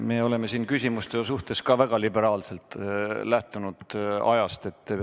Me oleme siin küsimuste puhul ka väga liberaalselt aega suhtunud.